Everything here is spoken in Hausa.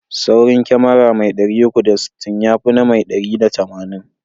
Saurin kyamara mai 360, ya fina na mai 180.